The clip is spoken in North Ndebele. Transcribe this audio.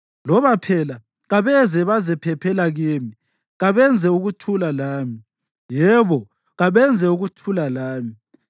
Loba phela kabeze bazephephela kimi; kabenze ukuthula lami, yebo, kabenze ukuthula lami.”